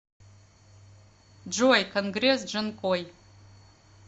джой конгресс джанкой